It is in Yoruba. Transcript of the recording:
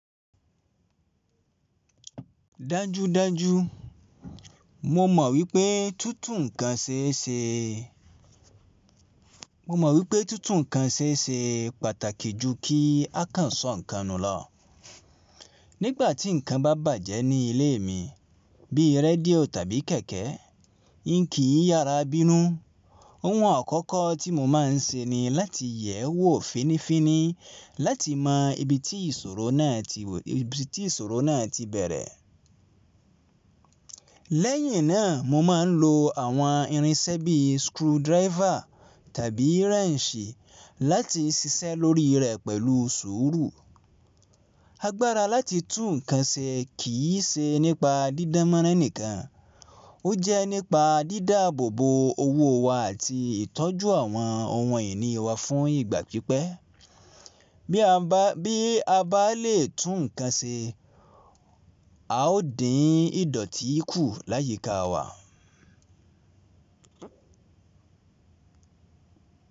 Dájúdájú mo mọ̀ wípé tútù ǹkan ṣeé ṣe pàtàkì ju kí a kàn sọ ǹkan nù lọ. Nígbà tí ǹkan bá bàjẹ́ ní ilé mi, bíi rédíò tàbí kẹ̀kẹ́, inki yàrá bínú, ohun àkọ́kọ́ tí mo máa ń ṣe ni láti yẹ̀ ẹ́ wò fínnífínní láti mọ ibi tí ìṣòro náà ti bẹ̀rẹ̀. Lẹ́yìn náà mo máa ń lo àwọn irinṣẹ́ bíi screwdriver tàbí wrench láti ṣiṣẹ́ lórí rẹ̀ pẹ̀lú sùúrù. Agbára láti tún ǹkan ṣe kì í ṣe nípa dídá mọ́ránì kan, ó jẹ́ nípa dídá àbò bo owó wa àti ìtọ́jú àwọn ohun ìní wa fún ìgbà pípẹ́. Bí a bá lè tún ǹkan ṣe, a ó dín ìdọ̀tí kù láyíká wa.